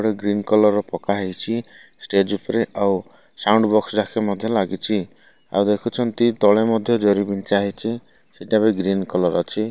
ଗୋଟେ green colour ର ପକା ହେଇଚି ଷ୍ଟେଜ ଉପରେ ଆଉ ସାଉଣ୍ଡ ବକ୍ସ ମଧ୍ୟ ଲାଗିଛି ଆଉ ଦେଖୁଛନ୍ତି ତଳେ ମଧ୍ୟ ଜରି ବିଞ୍ଚା ହେଇଚି ସେଟା ବି ଗ୍ରୀନ କଲର ଅଛି।